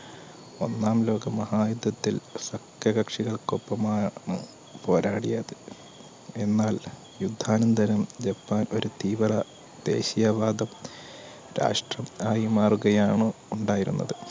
ഒന്നാം ലോക മഹായുദ്ധത്തിൽ സത്യകക്ഷികൾക്കൊപ്പമായ ആണ്‌ പോരാടിയത് എന്നാൽ യുദ്ധാനന്തരം ജപ്പാൻ ഒരു തീവ്ര ദേശിയ വാദം രാഷ്ട്രം ആയി മാറുകയാണ് ഉണ്ടായിരുന്നത്